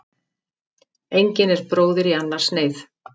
Engin er bróðir í annars neyð.